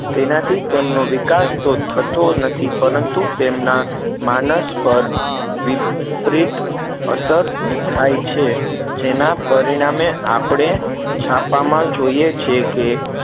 તેનાથી તેમનો વિકાસ તો થતો નથી પરંતુ તેમના માનસ પર વિપરીત અસર થાય છે જેના પરિણામે આપડે છાપામાં જોઈએ છે કે